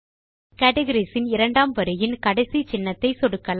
categories இன் இரண்டாம் வரியின் கடைசி சின்னத்தை சொடுக்கலாம்